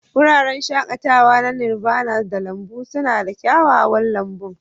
Wuraren shakatawa na Nirvana da lambun suna da kyakkyawan lambun.